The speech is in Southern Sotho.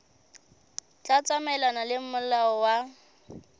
tla tsamaelana le molao wa